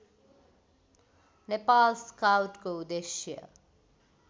नेपाल स्काउटको उद्देश्य